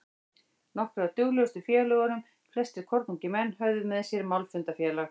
Nokkrir af dugmestu félögunum, flestir kornungir menn, höfðu með sér málfundafélag